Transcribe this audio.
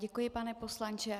Děkuji, pane poslanče.